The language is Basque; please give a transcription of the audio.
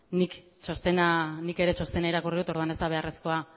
nik ere txostena irakurri dut orduan ez da beharrezkoa